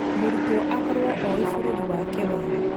Mũrutwo akorwo oĩ bũrũri wake wega